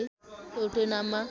एउटै नाममा